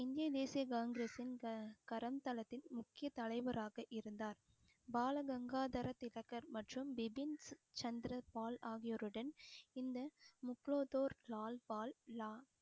இந்திய தேசிய காங்கிரஸின் க~ முக்கிய தலைவராக இருந்தார் பால கங்காதர திலகர் மற்றும் பிபின் சந்திரபால் ஆகியோருடன் இந்த முக்குலத்தோர் லால் பால் லா~